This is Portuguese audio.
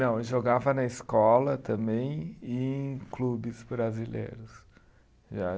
Não, eu jogava na escola também e em clubes brasileiros. Já